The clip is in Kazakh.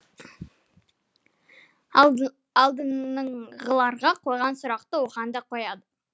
алдыңғыларға қойған сұрақты оған да қояды